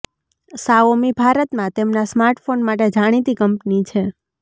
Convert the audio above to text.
Xiaomi ભારતમાં તેમના smartphone માટે જાણીતી કંપની છે